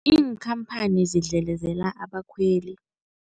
Iinkhamphani zidlelezela abakhweli.